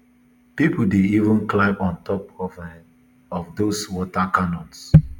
pipo dey even climb on top um of dose water cannons